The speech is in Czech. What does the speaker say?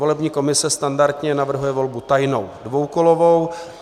Volební komise standardně navrhuje volbu tajnou dvoukolovou.